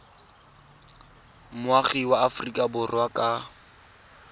moagi wa aforika borwa ka